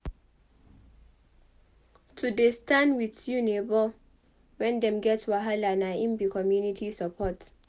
To dey stand wit you nebor wen dem get wahala na im be community support.